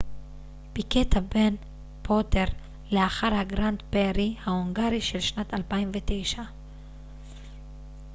פיקט הבן פוטר לאחר הגרנד פרי ההונגרי של שנת 2009